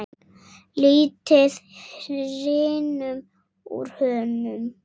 Lítið hrynur úr honum.